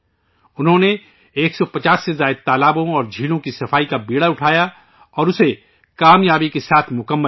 انہوں نے 150 سے زائد تالابوں اور جھیلوں کی صفائی کی ذمہ داری اٹھائی اور اسے کامیابی کے ساتھ مکمل کیا